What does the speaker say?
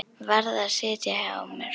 Varð að sitja á mér.